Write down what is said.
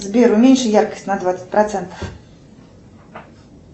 сбер уменьши яркость на двадцать процентов